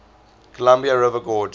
columbia river gorge